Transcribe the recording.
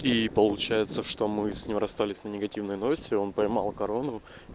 и получается что мы с ним расстались негативной ноте он поймал корону